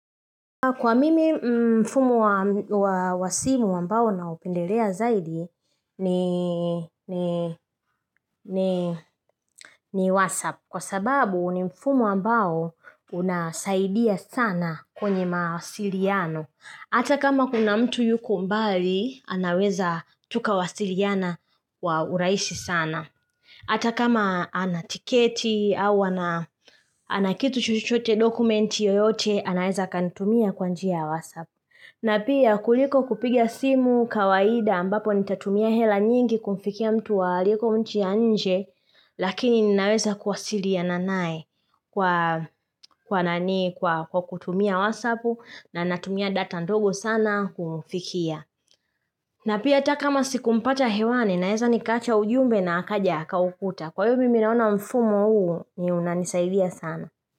Kwa mimi mfumo wa wa simu ambao naupendelea zaidi ni whatsapp. Kwa sababu ni mfumo ambao unasaidia sana kwenye mawasiliano. Hata kama kuna mtu yuko mbali anaweza tukawasiliana wa urahisi sana. Hata kama ana tiketi au ana kitu chochote dokumenti yoyote anaweza kunitumia kwa nja ya whatsapp. Na pia kuliko kupiga simu kawaida ambapo nitatumia hela nyingi kumfikia mtu aliko nchi njje lakini ninaweza kuwasiliana naye kwa kutumia whatsapp na natumia data ndogo sana kumfikia. Na pia hata kama sikumpata hewani naeza nikaacha ujumbe na akaja akaukuta. Kwa hvyo mimi naona mfumo huo ndio unanisaidia sana.